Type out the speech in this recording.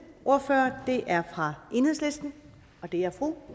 ordfører er fra enhedslisten og det er fru